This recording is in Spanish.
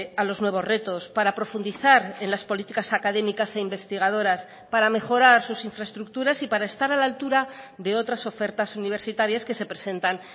a los nuevos retos para profundizar en las políticas académicas e investigadoras para mejorar sus infraestructuras y para estar a la altura de otras ofertas universitarias que se presentan